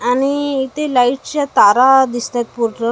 आणि इथे लाईटच्या तारा दिसतायत पूर्ण--